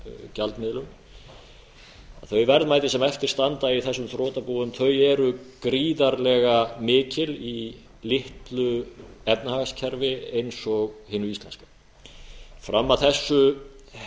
gjaldmiðlum þau verðmæti sem eftir standa í þessum þrotabúum eru gríðarlega mikil í litlu efnahagskerfi eins og hinu íslenska fram að þessu